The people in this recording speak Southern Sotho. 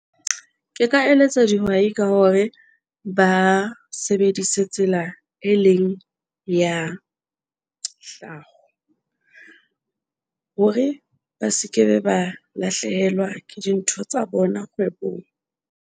Ke ka eletsa dihwai ka hore ba sebedise tsela, e leng ya hore ba se ke be ba lahlehelwa ke dintho tsa bona kgwebong.